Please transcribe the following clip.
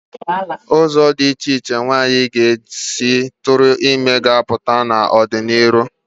Ụzọ dị iche iche nwaanyị nwere ike isi tụọ ime ga-apụta n'ọdịnihu.